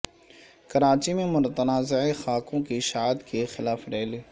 کراچی میں متنازع خاکوں کی اشاعت کے خلاف ریلی